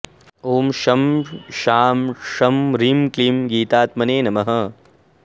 ॐ शं शां षं ह्रीं क्लीं गीतात्मने नमः